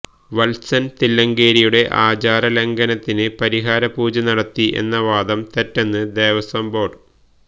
വത്സൻ തില്ലങ്കേരിയുടെ ആചാരലംഘനത്തിന് പരിഹാര പൂജ നടത്തി എന്ന വാദം തെറ്റെന്ന് ദേവസ്വം ബോര്ഡ്